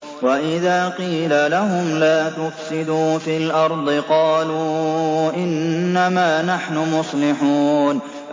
وَإِذَا قِيلَ لَهُمْ لَا تُفْسِدُوا فِي الْأَرْضِ قَالُوا إِنَّمَا نَحْنُ مُصْلِحُونَ